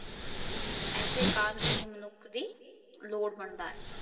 ਇਸ ਕਰਨ ਏਹ੍ਹ ਮਨੁੱਖ ਦੀ ਲੋੜ ਬਣਦਾ ਹੈ